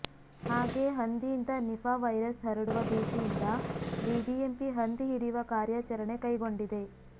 ಹಾಗೇ ಹಂದಿಯಿಂದ Nipah virus ಹರಡುವ ಭೀತಿಯಿಂದ ಬಿಬಿಎಂಪಿ ಹಂದಿ ಹಿಡಿಯುವ ಕಾರ್ಯಾಚರಣೆ ಕೈಗೊಂಡಿದೆ